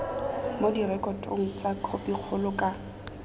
mo direkotong tsa khopikgolo ka